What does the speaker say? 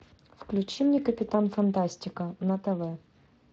включи мне капитан фантастика на тв